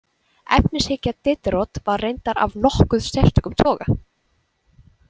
Efnishyggja Diderot var reyndar af nokkuð sérstökum toga.